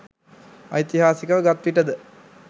ඓතිහාසිකව ගත් විටද